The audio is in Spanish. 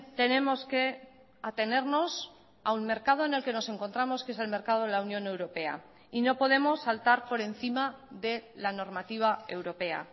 tenemos que atenernos a un mercado en el que nos encontramos que es el mercado de la unión europea y no podemos saltar por encima de la normativa europea